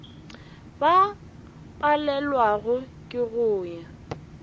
ba palelwago ke go ya